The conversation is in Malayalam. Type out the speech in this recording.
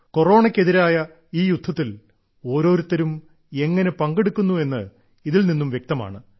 കൊറോണയ്ക്ക് എതിരായ ഈ യുദ്ധത്തിൽ ഓരോരുത്തരും എങ്ങനെ പങ്കെടുക്കുന്നു എന്ന് ഇതിൽ നിന്ന് വ്യക്തമാണ്